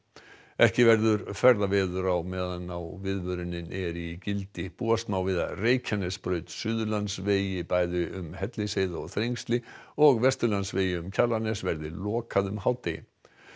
ekki verður ferðaveður á meðan viðvörunin er í gildi búast má við að Reykjanesbraut Suðurlandsvegi bæði um Hellisheiði og Þrengsli og Vesturlandsvegi um Kjalarnes verði lokað um hádegi